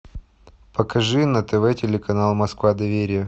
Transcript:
покажи на тв телеканал москва доверие